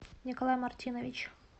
николай мартинович